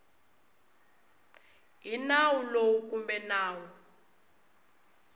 hi nawu lowu kumbe nawu